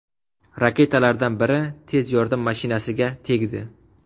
Raketalardan biri tez yordam mashinasiga tegdi.